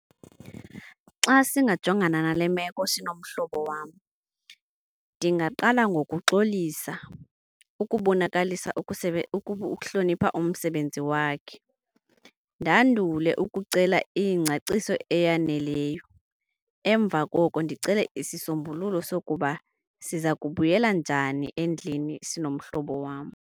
Xa singajongana nale meko sinomhlobo wam, ndingaqala ngokuxolisa ukubonakalisa ukuhlonipha umsebenzi wakhe. Ndandule ukucela iingcaciso eyaneleyo. Emva koko ndicele isisombululo sokuba siza kubuyela njani endlini sinomhlobo wam.